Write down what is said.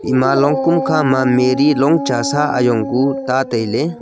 ema long kum kha ma mari long chasa ajong ku ta taile.